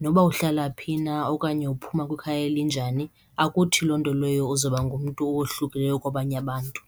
noba uhlala phi na okanye uphuma kwikhaya elinjani akuthi loo nto leyo uzawuba ngumntu owohlukileyo kwabanye abantu.